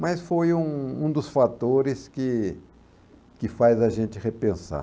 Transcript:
Mas foi um um dos fatores que que faz a gente repensar.